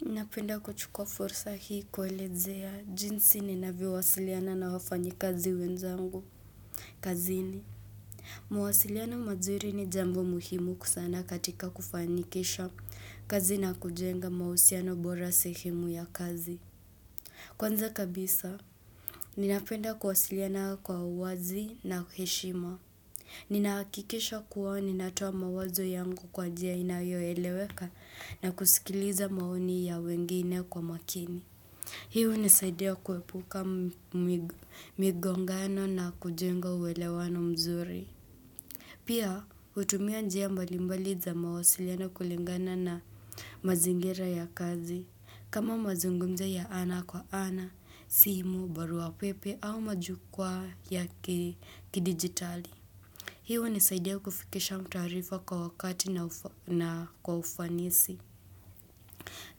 Ninapenda kuchukua fursa hii kuelezea, jinsi ninavyowasiliana na wafanyikazi wenzangu, kazini. Mawasiliano mazuri ni jambo muhimu kusana katika kufanikisha kazi na kujenga mausiano bora sehimu ya kazi. Kwanza kabisa, ninapenda kuwasiliana kwa uwazi na heshima. Ni nakikisha kuwa ni natoa mawazo yangu kwa jia inayoeleweka na kusikiliza maoni ya wengine kwa makini Hi unisaidia kuepuka migongano na kujenga uwelewano mzuri Pia hutumia njia mbalimbali za mawasilano kulingana na mazingira ya kazi kama mazungumzo ya ana kwa ana, simu, baruapepe au majukwa ya kidigitali Hi unisaidia kufikisha mtuarifa kwa wakati na kwa ufanisi.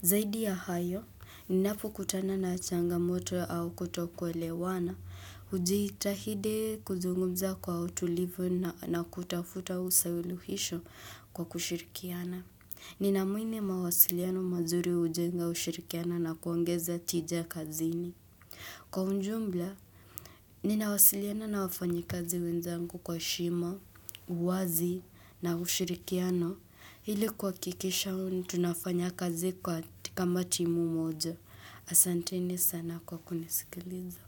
Zaidi ya hayo, ninapokutana na changamoto au kuto kwelewana. Ujiitahide kuzungumza kwa utulivu na kutafuta usawiluhisho kwa kushirikiana. Ninaamuini mawasiliano mazuri ujenga ushirikiana na kuangeza tijia kazini. Kwa unjumbla, ninawasiliana na wafanyikazi wenzangu kwa shima, uwazi na ushirikiano. Hili kwakikisha unu tunafanya kazi kwa ti kama timu moja. Asanteni sana kwa kunisikiliza.